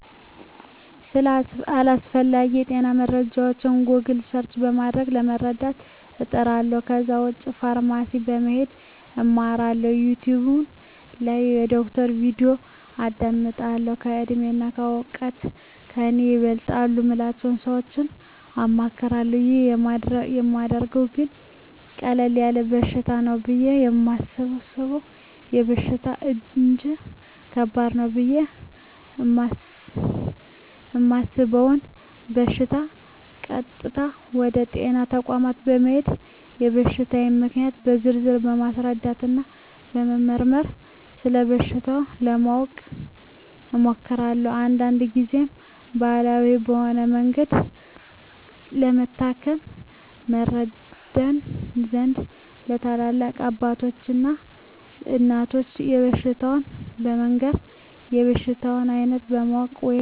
ስለ አስፈላጌ የጤና መረጃወች "ጎግል" ሰርች" በማድረግ ለመረዳት እጥራለሁ ከዛ ውጭ ፋርማሲ በመሄድ አማክራለሁ፣ "ዩቲውብ" ላይ የዶክተሮችን "ቪዲዮ" አዳምጣለሁ፣ በእድሜና በእውቀት ከኔ ይበልጣሉ ምላቸውን ሰወች አማክራለሁ። ይህን ማደርገው ግን ቀለል ያለ በሽታ ነው ብየ የማሰበውን በሽታ እንጅ ከባድ ነው ብየ እማስበውን በሸታ ቀጥታ ወደ ጤና ተቋም በመሄድ የበሽታየን ምልክቶች በዝርዝር በማስረዳትና በመመርመር ስለበሽታው ለማወቅ እሞክራለሁ። አንዳንድ ግዜም ባህላዊ በሆነ መንገድ ለመታከም ይረዳኝ ዘንድ ለትላልቅ አባቶች እና እናቶች በሽታየን በመንገር የበሽታውን አይነት ለማወቅ ወይም መረጃ ለመቀበል እሞክራለሁ።